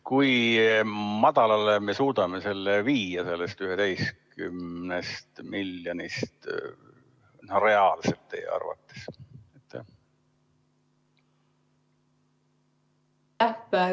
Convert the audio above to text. Kui madalale me suudame selle viia sellest 11 miljonist, reaalselt teie arvates?